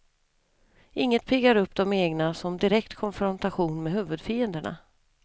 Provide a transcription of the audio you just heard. Inget piggar upp de egna som direkt konfrontation med huvudfienderna.